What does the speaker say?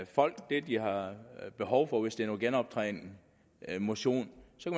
folk det de har behov for hvis det er noget genoptræning eller motion